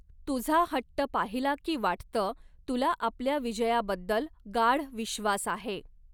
तुझा हट्ट पाहिला की वाटतं तुला आपल्या विजयाबद्दल गाढ विश्वास आहे.